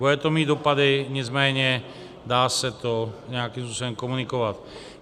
Bude to mít dopady, nicméně dá se to nějakým způsobem komunikovat.